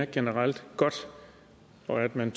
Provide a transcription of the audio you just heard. generelt er godt og at man